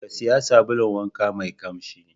Ka sayi sabulun wanka mai ƙamshi.